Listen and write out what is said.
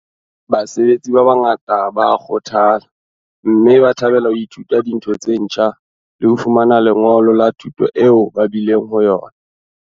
Basebetsi ba bangata ba a kgothala, mme ba thabela ho ithuta dintho tse ntjha le ho fumana lengolo la thuto eo ba bileng ho yona.